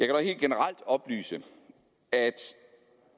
dog helt generelt oplyse at